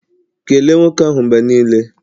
Kelee nwoke ahụ mgbe niile!